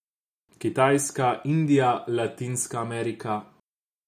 Kitajska, Indija, Latinska Amerika...